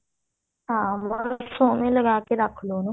ਹਾਂ ਬਹੁਤ ਸੋਹਣੇ ਲਗਾ ਕੇ ਰੱਖ ਲਓ ਉਹਨੂੰ